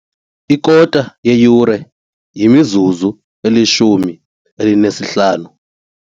Ikota yeyure yimizuzu elishumi elinesihlanu.